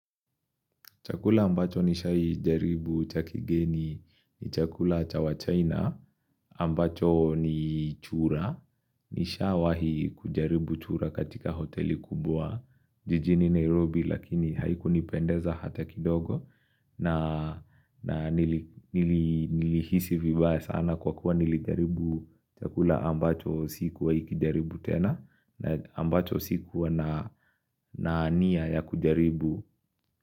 Chakula ambacho nishawahi jaribu cha kigeni ni chakula cha wachaina ambacho ni chura. Nishawahi kujaribu chura katika hoteli kubwa jijini Nairobi lakini haikunipendeza hata kidogo na Nilihisi vibaya sana kwa kuwa nilijaribu chakula ambacho sikuwahi kijaribu tena na ambacho sikuwa na nia ya kujaribu.